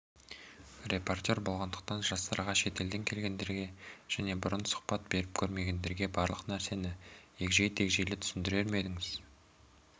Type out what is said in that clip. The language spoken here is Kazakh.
репортер болғандықтан жастарға шетелден келгендерге және бұрын сұхбат беріп көрмегендерге барлық нәрсені егжей-тегжейлі түсіндірер ме едіңіз